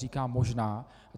Říkám možná.